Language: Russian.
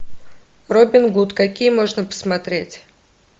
робин гуд какие можно посмотреть